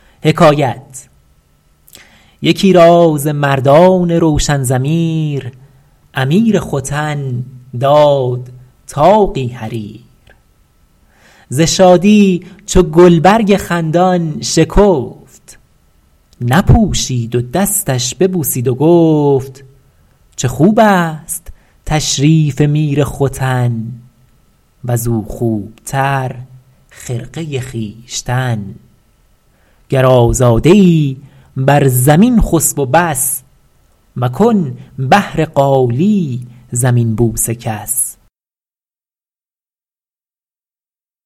یکی را ز مردان روشن ضمیر امیر ختن داد طاقی حریر ز شادی چو گلبرگ خندان شکفت نپوشید و دستش ببوسید و گفت چه خوب است تشریف میر ختن وز او خوب تر خرقه خویشتن گر آزاده ای بر زمین خسب و بس مکن بهر قالی زمین بوس کس